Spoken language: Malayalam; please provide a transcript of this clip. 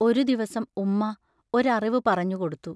ഒരു ദിവസം ഉമ്മാ ഒരറിവു പറഞ്ഞുകൊടുത്തു.